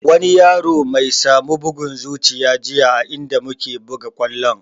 Wani yaro my samu bugun zuciya jiya a inda muke buga kwallon